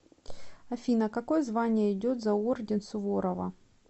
афина какое звание идет за орден суворова